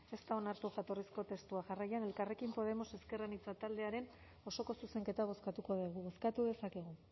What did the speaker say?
ez da onartu jatorrizko testua jarraian elkarrekin podemos ezker anitza taldearen osoko zuzenketa bozkatuko dugu bozkatu dezakegu